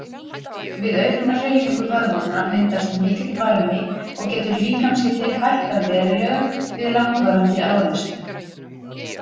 Við aukna hreyfingu vöðvanna myndast mikill varmi og getur líkamshiti hækkað verulega við langvarandi áreynslu.